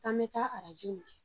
an bɛ taa arajo minɛ